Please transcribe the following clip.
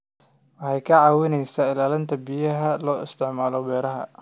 Waxay ka caawisaa ilaalinta biyaha loo isticmaalo beeraha.